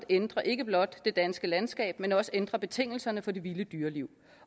ændre ikke blot det danske landskab men også ændre betingelserne for det vilde dyreliv